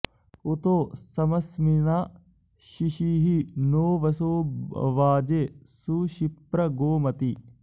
उ॒तो स॑मस्मि॒न्ना शि॑शीहि नो वसो॒ वाजे॑ सुशिप्र॒ गोम॑ति